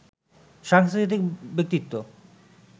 সাংস্কৃতিক ব্যক্তিত্ব